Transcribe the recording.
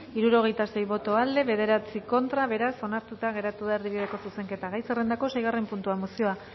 hirurogeita sei boto aldekoa nueve contra beraz onartuta geratu da erdibideko zuzenketa gai zerrendako seigarren puntua mozioa